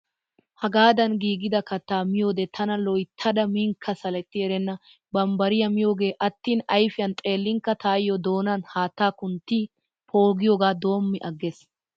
Hagaadan giigida kattaa miyoode tana loyttada minkka saletti erenna. Bambbariyaa miyoogee attend ayfiyan xeellinkka tayyoo doonan haatta kunttidi poogiyoogaa doommi agrees.